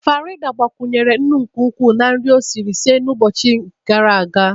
Farida gbakwunyere nnu nke ukwuu na nri o siri sie otu ụbọchị gara aga